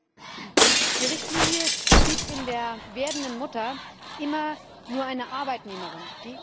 Erstens Die Richtlinie sieht in der werdenden Mutter immer nur eine Arbeitnehmerin.